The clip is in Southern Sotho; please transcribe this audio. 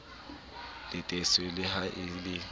latetswe le ha e le